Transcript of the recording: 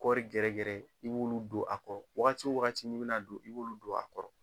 Kɔri gɛrɛgɛrɛ, i bolu don a kɔrɔ . Wagati wo wagati ni b'i n'a don, i b'olu don a kɔrɔ.